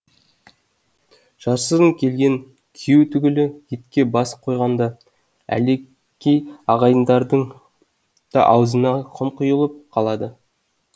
жасырын келген күйеу түгілі етке бас қой ғанда ағайлардың да аузына құм қүйылып қалады